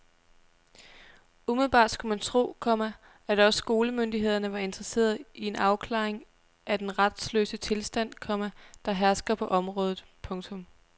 Umiddelbart skulle man tro, komma at også skolemyndighederne var interesseret i en afklaring af den retsløse tilstand, komma der hersker på området. punktum